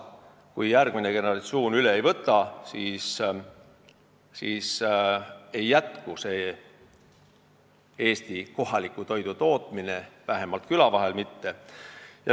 Kui järgmine generatsioon seda tööd üle ei võta, siis Eesti kohaliku toidu tootmine ei jätku, vähemalt küla vahel mitte.